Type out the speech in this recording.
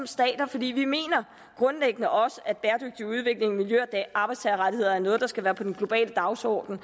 stater for vi mener grundlæggende også at bæredygtig udvikling miljø og arbejdstagerrettigheder er noget der skal være på den globale dagsorden